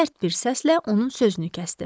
Sərt bir səslə onun sözünü kəsdi.